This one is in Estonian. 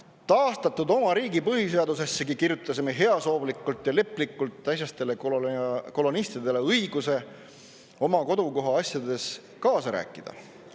Oma taastatud riigi põhiseadusessegi kirjutasime heasoovlikult ja leplikult äsjaste kolonialistide õiguse oma kodukoha asjades kaasa rääkida.